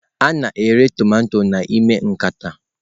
A na-ere tomato n'ime nkata.